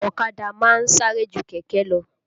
Ọ̀kadà máa ń sáré ju kẹ̀kẹ́ lọ